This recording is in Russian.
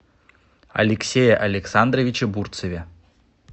алексее александровиче бурцеве